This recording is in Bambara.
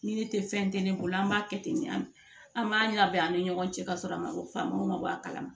Ni ne te fɛn tɛ ne bolo an b'a kɛ ten an b'a ɲɛnabɔ an ni ɲɔgɔn cɛ ka sɔrɔ a ma famu ma bɔ a kalama